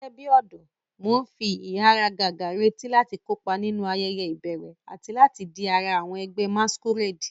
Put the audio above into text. Gẹ́gẹ́ bí ọ̀dọ́, mo ń fi ìháragàgà retí láti kópa nínú ayẹyẹ ìbẹ̀rẹ̀ àti láti di ara àwọn ẹgbẹ́ masquerade.